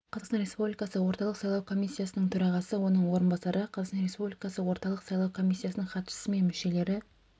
қазақстан республикасы орталық сайлау комиссиясының төрағасы оның орынбасары қазақстан республикасы орталық сайлау комиссиясының хатшысы мен мүшелері